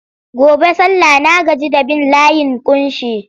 Gobe sallah na gaji da bin layin ƙunshi.